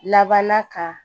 Labanna ka